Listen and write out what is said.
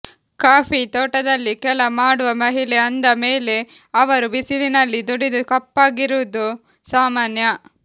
coffee ತೋಟದಲ್ಲಿ ಕೆಲ ಮಾಡುವ ಮಹಿಳೆ ಅಂದ ಮೇಲೆ ಅವರು ಬಿಸಿಲಿನಲ್ಲಿ ದುಡಿದು ಕಪ್ಪಗಿರೋದು ಸಾಮಾನ್ಯ